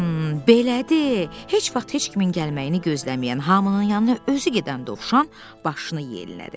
belədir, heç vaxt heç kimin gəlməyini gözləməyən, hamının yanına özü gedən Dovşan başını yellədi.